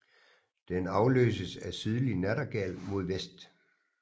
Den afløses af sydlig nattergal mod vest